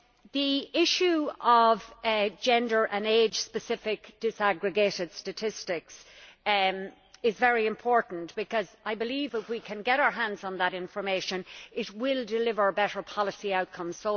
The issue of gender and age specific disaggregated statistics is very important, because I believe that if we can get our hands on that information, it will deliver better policy outcomes.